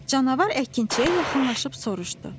Canavar əkinçiyə yaxınlaşıb soruştu: